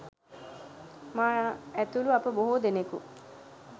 මා ඇතුළු අප බොහෝ දෙනකු